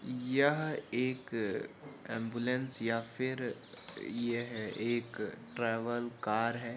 यह एक अब्ल्युल्स या फिर यह एक ट्रैवल कार है।